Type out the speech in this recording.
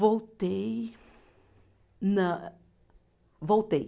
Voltei nã. Voltei.